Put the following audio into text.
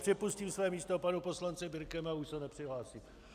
Přepustím své místo panu poslanci Birkemu, a už se nepřihlásím.